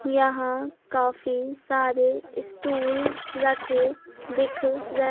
यहां काफी सारे स्टूल रखे दिख र--